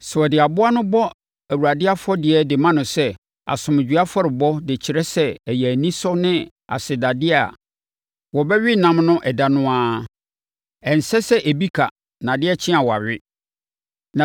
Sɛ wɔde aboa no bɔ Awurade afɔdeɛ de ma no sɛ asomdwoeɛ afɔrebɔ de kyerɛ sɛ ɛyɛ anisɔ ne asedadeɛ a, wɔbɛwe ne nam ɛda no ara. Ɛnsɛ sɛ ebi ka na adeɛ kye a wɔawe.